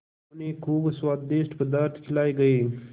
उन्हें खूब स्वादिष्ट पदार्थ खिलाये गये